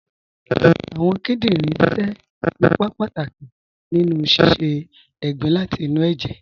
Awọn kìdìnrin ṣẹ̀ ìpà pátàkì nínu sísẹ̀ ègbìn láti inú ẹ̀jẹ̀